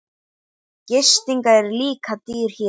Gisting er líka dýr hér.